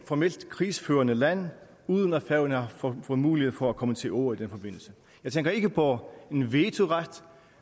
formelt krigsførende land uden at færøerne har fået mulighed for at komme til orde i den forbindelse jeg tænker ikke på en vetoret